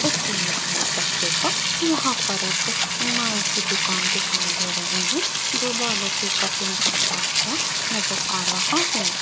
इस इमेज में देखिएगा यहां एक नाई की दुकान दिखाई दे रही है जो बालों की कटिंग करता हुआ नजर आ रहा है।